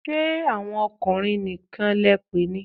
Ṣé àwọn ọkùnrin nìkan lẹ pè ni?